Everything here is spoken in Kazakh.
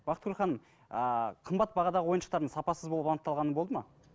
бақытгүл ханым ааа қымбат бағадағы ойыншықтардың сапасыз болып анықталғаны болды ма